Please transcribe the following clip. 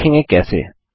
हम देखेंगे कैसे